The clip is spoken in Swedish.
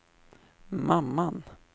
mamman